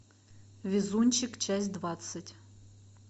везунчик часть двадцать